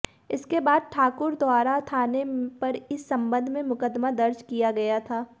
इसके बाद ठाकुरद्वारा थाने पर इस संबंध में मुकदमा दर्ज किया गया था